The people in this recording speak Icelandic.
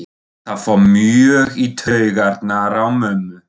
Það fór mjög í taugarnar á mömmu.